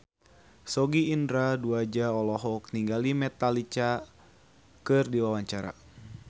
Sogi Indra Duaja olohok ningali Metallica keur diwawancara